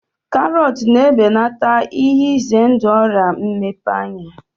Karọt na-ebelata ihe ize ndụ Ọrịa mmepe ahụ